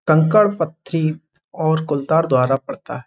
कंकड़ पत्थरी और कोलतार द्वारा पड़ता है।